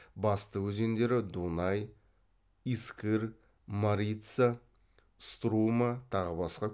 басты өзендері дунай искыр марица струма тағы басқа